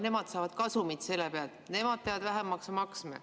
Nemad saavad kasumit selle pealt, nemad peavad vähem maksu maksma.